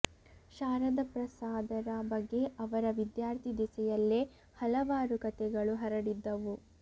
ಶಾರದಾ ಪ್ರಸಾದರ ಬಗ್ಗೆ ಅವರ ವಿದ್ಯಾರ್ಥಿ ದೆಸೆಯಲ್ಲೇ ಹಲವಾರು ಕತೆಗಳು ಹರಡಿದ್ದವು